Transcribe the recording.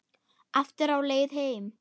Aftur á leið heim.